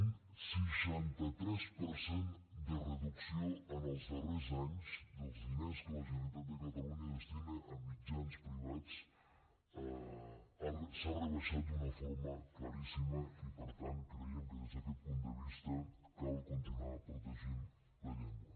un seixanta tres per cent de reducció en els darrers anys dels diners que la generalitat de catalunya destina a mitjans privats s’ha rebaixat d’una forma claríssima i per tant creiem que des d’aquest punt de vista cal continuar protegint la llengua